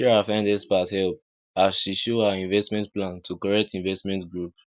sarah find expert help as she show her investment plan to correct investment group